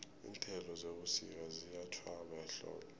iinthelo zebusika ziyatjhwaba ehlobo